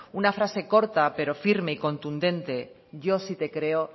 una frase corta pero firme y contundente yo sí te creo